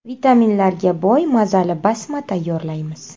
Vitaminlarga boy mazali basma tayyorlaymiz.